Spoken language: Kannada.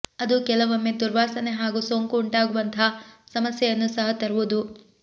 ಅದು ಕೆಲವೊಮ್ಮೆ ದುರ್ವಾಸನೆ ಹಾಗೂ ಸೋಂಕು ಉಂಟಾಗುವಂತಹ ಸಮಸ್ಯೆಯನ್ನು ಸಹ ತರುವುದು